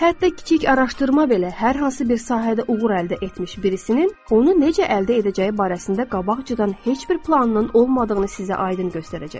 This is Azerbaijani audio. Hətta kiçik araşdırma belə hər hansı bir sahədə uğur əldə etmiş birisinin onu necə əldə edəcəyi barəsində qabaqcadan heç bir planının olmadığını sizə aydın göstərəcəkdir.